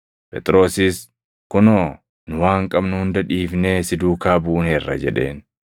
Phexrosis, “Kunoo, nu waan qabnu hunda dhiifnee si duukaa buuneerra” jedheen.